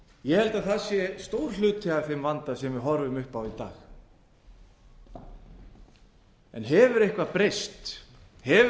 ég held að það sé stór hluti af þeim vanda sem við horfum upp á í dag hefur eitthvað breyst hefur